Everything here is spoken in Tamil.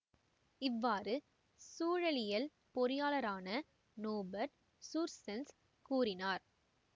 இவ்வாறு சூழலியல் பொறியாளரான நோபெர்ட்டு சூர்சென்சு கூறினார்